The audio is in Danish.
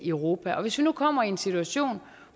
europa og hvis vi nu kommer i en situation